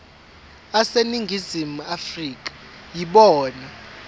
aseningizimu afrika yibona